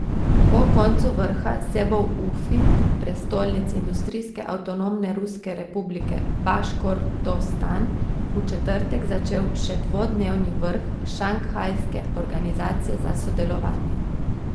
Po koncu vrha se bo v Ufi, prestolnici industrijske avtonomne ruske republike Baškortostan, v četrtek začel še dvodnevni vrh Šanghajske organizacije za sodelovanje.